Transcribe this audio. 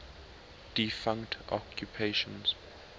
defunct occupations